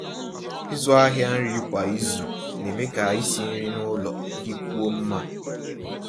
ị̀zụ́ àhịa nrí kwá ízù ná-èmé kà ísi nrí n'ụ́lọ̀ dị́kwúó mmá.